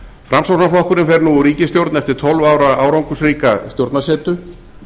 framsóknarflokkurinn fer nú úr ríkisstjórn eftir tólf ára árangursríka stjórnarsetu